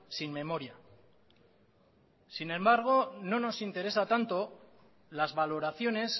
sin memoria sin embargo no nos interesa tanto las valoraciones